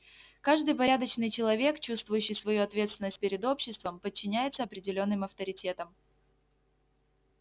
каждый порядочный человек чувствующий свою ответственность перед обществом подчиняется определённым авторитетам